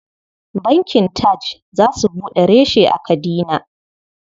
Bankin TAJ za su buɗe reshe a Kadina.